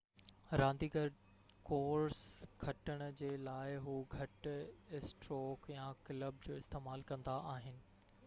رانديگر ڪورس کٽڻ جي لاءِ هو گهٽ اسٽروڪ يا ڪلب جو استعمال ڪندا آهن